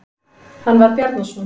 Hann var Bjarnason.